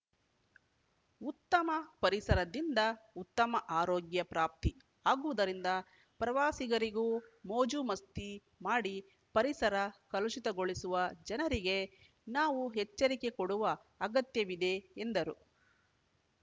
ಉತ್ತಮ ಪರಿಸರದಿಂದ ಉತ್ತಮ ಆರೋಗ್ಯ ಪ್ರಾಪ್ತಿ ಆಗುವುದರಿಂದ ಪ್ರವಾಸಿಗರಿಗೂ ಮೋಜು ಮಸ್ತಿ ಮಾಡಿ ಪರಿಸರ ಕಲುಷಿತಗೊಳಿಸುವ ಜನರಿಗೆ ನಾವು ಎಚ್ಚರಿಕೆ ಕೊಡುವ ಅಗತ್ಯವಿದೆ ಎಂದರು